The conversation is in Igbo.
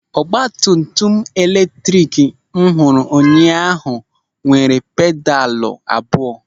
Ọgbatumtum eletrik m hụrụ ụnyaahụ nwere pedalụ abụọ.